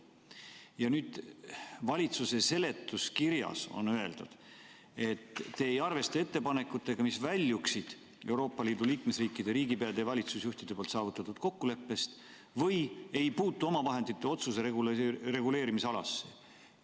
Ja nüüd valitsuse seletuskirjas on öeldud, et te ei arvesta ettepanekuid, mis väljuvad Euroopa Liidu liikmesriikide riigipeade ja valitsusjuhtide saavutatud kokkuleppe piiridest või ei puutu omavahendite otsuse reguleerimisalasse.